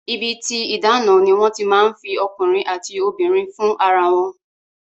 Ibi tí ìdáná ni wọ́n ti máa ń fi ọkùnrin àti obìnrin fún ara wọn